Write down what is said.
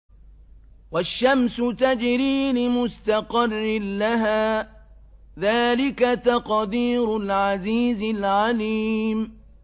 وَالشَّمْسُ تَجْرِي لِمُسْتَقَرٍّ لَّهَا ۚ ذَٰلِكَ تَقْدِيرُ الْعَزِيزِ الْعَلِيمِ